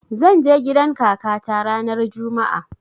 Zan je gidan kakata ranar juma'a